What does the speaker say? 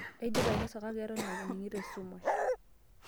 Aidipa ainosa kake eton aning'ito esumash.